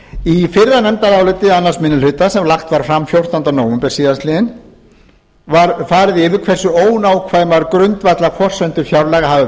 í fyrra nefndaráliti annar minni hluta sem lagt var fram fjórtánda nóvember síðastliðinn var farið yfir hversu ónákvæmar grundvallarforsendur fjárlaga hafa